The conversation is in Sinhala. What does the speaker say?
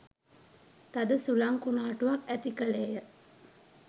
තද සුළං කුණාටුවක් ඇති කළේය.